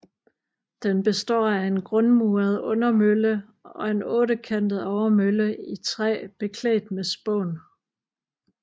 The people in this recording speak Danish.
Den består af en grundmuret undermølle og en ottekantet overmølle i træ beklædt med spån